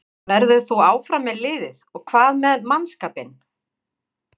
Verður þú áfram með liðið og hvað með mannskapinn?